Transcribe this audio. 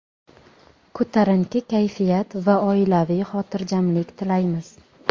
ko‘tarinki kayfiyat va oilaviy xotirjamlik tilaymiz!.